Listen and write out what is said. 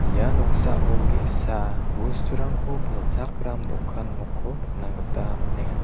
ia noksao ge·sa bosturangko palchakram dokan nokko nikna gita man·enga.